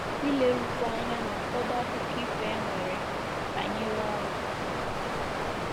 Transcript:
Ilerukwu Anya n’Ụfọdụ Akụkọ Ifo E Nwere Banyere Ọnwụ.